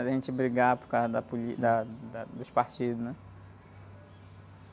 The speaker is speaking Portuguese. De a gente brigar por causa da polí, da, da, dos partidos, né?